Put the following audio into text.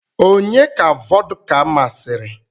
Onye ka vọdka masịrị?